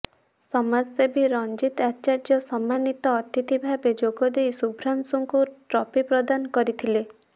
ସମାଜସେବୀ ରଂଜିତ ଆଚାର୍ଯ୍ୟ ସମାନୀତ ଅତିଥି ଭାବେ ଯୋଗଦେଇ ସୁଭ୍ରାଂଶୁଙ୍କୁ ଟ୍ରଫି ପ୍ରଦାନ କରିଥିଲେ